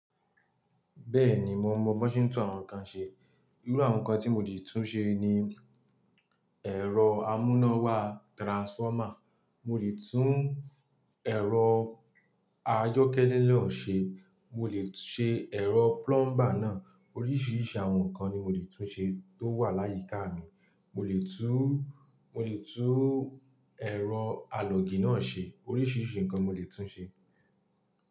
Bẹ́ẹ̀ni mo mọ bose tu àwọn nǹkan ṣe. Irú àwọn nǹkan tí mo lè tún ṣe ni ẹ̀rọ amúnáwá transformer, mo lè tún ẹ̀rọ ayókẹ́lẹ́ naa ṣe, mo lè ṣe ẹ̀rọ plumber náà. Oríṣiríṣi àwọn nǹkan ni mo lè tún ṣe tó wà láyíká mi. Mo lè tún, mo lè tún ẹ̀rọ alọ́ọ̀gì náà ṣe. Oríṣiríṣi nǹkan mo lè tún ṣe.